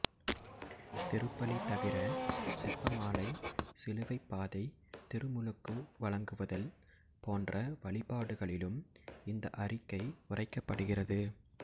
திருப்பலி தவிர செபமாலை சிலுவைப்பாதை திருமுழுக்கு வழங்குதல் போன்ற வழிபாடுகளிலும் இந்த அறிக்கை உரைக்கப்படுகிறது